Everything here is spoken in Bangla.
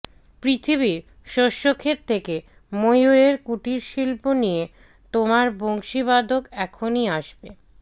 পৃথিবীর শস্যক্ষেত থেকে ময়ূরের কুটিরশিল্প নিয়ে তোমার বংশীবাদক এখনই আসবে